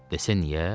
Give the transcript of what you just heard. Desə niyə?